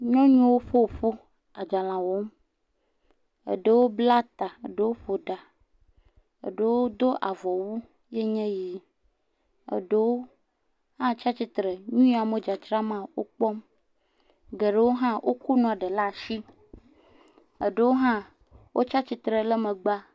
Nyɔnuwo ƒo ƒu adzalẽ wɔm. Eɖewo bla ta, eɖewo ƒo ɖa, eɖewo do avɔwu ye nye ɣi. Eɖewo atsia tsitre nu ya amo dzadzra ma wokpɔm. Geɖewo hã woko nua ɖewo lea asi. Eɖowo hã wotsi atsitre ɖe megbea.